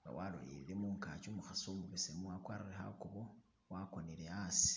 nga walolele mungaki umukhasi umubesemu akwarire khakubo wakonele asi.